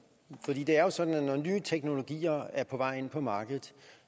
det er jo sådan at når nye teknologier er på vej ind på markedet